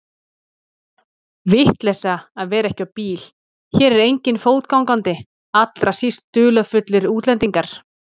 Vitleysa að vera ekki á bíl, hér er enginn fótgangandi, allra síst dularfullir útlendingar.